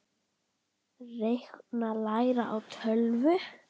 Reikna- læra á tölvur